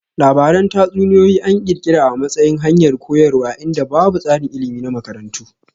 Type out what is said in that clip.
Labaran tatsuniyoyi an kirkira a matsayin hanyar koyarwa inda babu tsarin ilmi na makarantu